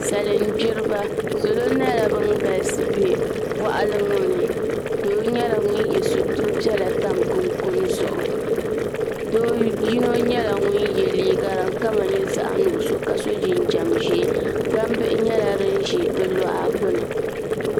salin gbiriba salo nyɛla bin galisi bɛ boɣali ŋo ni doo nyɛla ŋun yɛ sitiri piɛla tam kunkun zuɣu do yino nyɛla ŋun yɛ liiga din kama nyɛ zaɣ nuɣso ka so jinjɛm ʒiɛ gbambihi nyɛla din ʒɛ bi luɣa gbuni